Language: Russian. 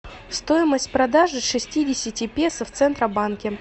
стоимость продажи шестидесяти песо в центробанке